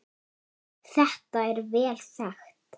Þetta er vel þekkt.